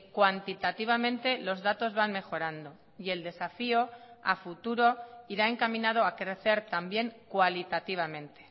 cuantitativamente los datos van mejorando y el desafío a futuro irá encaminado a crecer también cualitativamente